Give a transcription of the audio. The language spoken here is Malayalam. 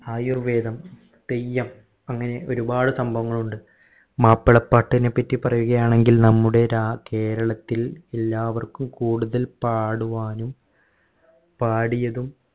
ആയുർവേദം തെയ്യം അങ്ങനെ ഒരുപാട് സംഭവങ്ങൾ ഉണ്ട് മാപ്പിളപ്പാട്ടിനെ പറ്റി പറയുക ആണെങ്കിൽ നമ്മുടെ ര കേരളത്തിൽ എല്ലാവർക്കും കൂടുതൽ പാടുവാനും പാടിയതും